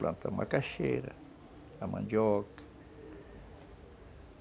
Plantam a macaxeira, a mandioca.